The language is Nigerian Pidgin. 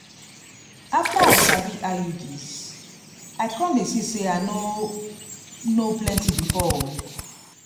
afta i sabi iuds i com de see say i no know plenty before o